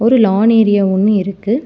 ஒரு lawn area ஒன்னு இருக்கு.